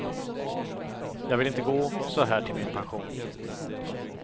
Jag vill inte gå så här till min pension.